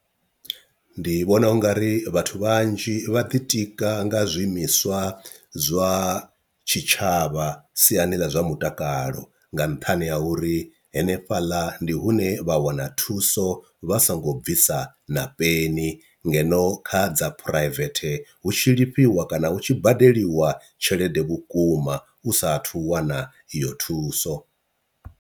Ndi vhona ungari vhathu vhanzhi vha ḓitika nga zwiimiswa zwa tshitshavha siani ḽa zwa mutakalo nga nṱhani ha uri henefhaḽa ndi hune vha wana na thuso vha songo bvisa na peni ngeno kha dza private hu tshi lifhiwa kana hu tshi badeliwa tshelede vhukuma u sathu wana iyo thuso.